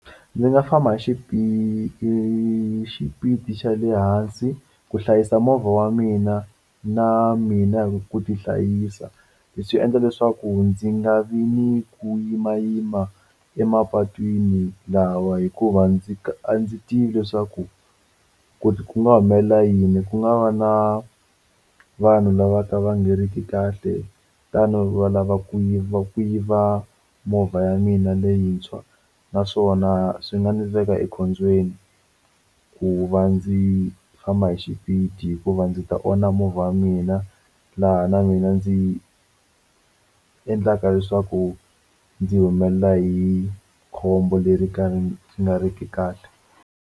Ndzi nga famba hi hi xipidi xa le hansi ku hlayisa movha wa mina na mina ku tihlayisa leswi endla leswaku ndzi nga vi ni ku yimayima emapatwini lawa hikuva ndzi a ndzi tivi leswaku ku ku nga humelela yini ku nga va na vanhu lava ka va nga ri ki kahle tano va lava ku yiva ku yiva movha ya mina leyintshwa naswona swi nga ndzi veka ekhombyeni ku va ndzi famba hi xipidi hikuva ndzi ta onha movha wa mina laha na mina ndzi endlaka leswaku ndzi humelela hi khombo leri ka ri nga ri ki kahle.